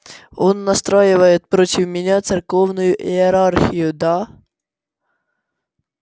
он настраивает против меня церковную иерархию да